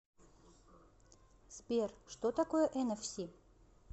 сбер что такое энэфси